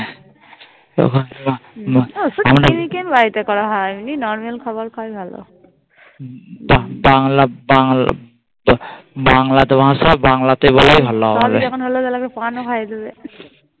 এমনি নর্মেল খাবার খাওয়াই ভালো বাংলা বাংলা তো ভাষা বাংলাতে বলাই ভালো তাহলে যখন হলো তাহলে একটা পানো খায়িয়ে দেবে